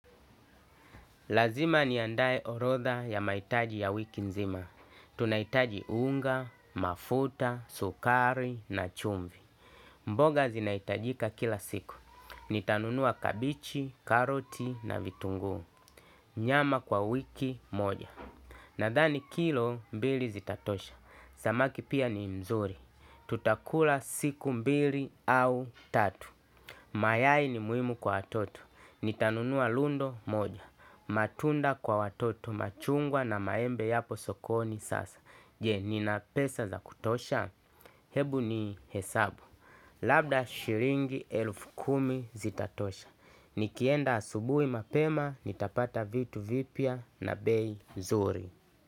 Lazima ni andae orotha ya mahitaji ya wiki nzima. Tunahitaji unga, mafuta, sukari na chumvi. Mboga zinaitajika kila siku. Nitanunua kabichi, karoti na vitungu. Nyama kwa wiki moja. Nadhani kilo mbili zitatosha. Samaki pia ni mzuri. Tutakula siku mbili au tatu. Mayai ni muhimu kwa watoto. Nitanunua lundo moja. Matunda kwa watoto machungwa na maembe yapo sokoni sasa. Je, nina pesa za kutosha? Hebu ni hesabu labda shilingi elfu kumi zitatosha, nikienda asubuhi mapema nitapata vitu vipya na bei nzuri.